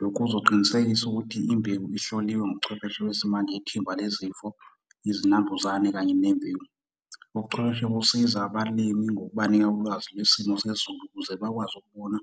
Lokhu kuzoqinisekisa ukuthi imbewu ihloliwe ngobuchwepheshe besimanje yithimba lezifo, izinambuzane kanye . Ubuchwepheshe busiza abalimi ngokubanika ulwazi lwesimo sezulu ukuze bakwazi ukubona